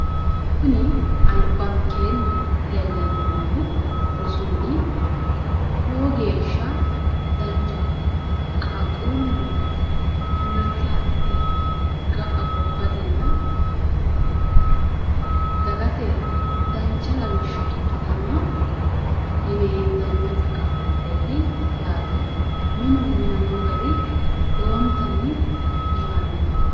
albaankenni leellani noohu rosu mini lowo geeshsha danchaho qaaqqulu timirte addite gobbate ikkittano yine hendanni, minuno minamino gari lowontanni biiffano.